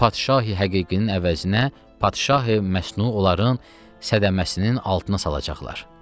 Padşahi həqiqinin əvəzinə padşahi məsnu onların sədəsinin altına salacaqlar.